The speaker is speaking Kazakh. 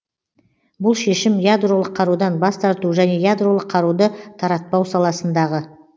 бұл шешім ядролық қарудан бас тарту және ядролық қаруды таратпау саласындағы